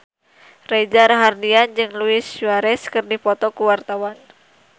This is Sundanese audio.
Reza Rahardian jeung Luis Suarez keur dipoto ku wartawan